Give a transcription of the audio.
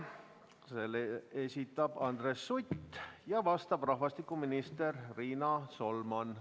Selle esitab Andres Sutt ja vastab rahvastikuminister Riina Solman.